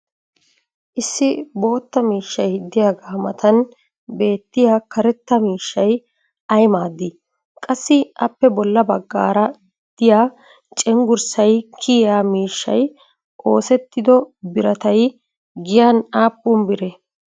issi bootta miishshay diyaaga matan beettiyaa karetta miishshay ayi maadii? qassi appe bola bagaara diya cenggurssay kiyiyaa mishshay oosettido birattay giyan aappun biree?